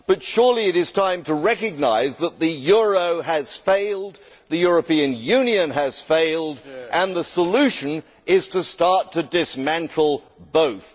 But surely it is time to recognise that the euro has failed, that the European Union has failed and that the solution is to start to dismantle both.